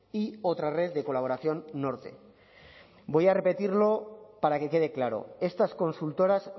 y otra red de colaboración norte voy a repetirlo para que quede claro estas consultoras